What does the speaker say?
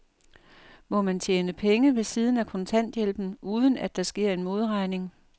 Må man tjene penge ved siden af kontanthjælpen, uden at der sker en modregning?